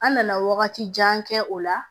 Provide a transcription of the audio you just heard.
An nana wagati jan kɛ o la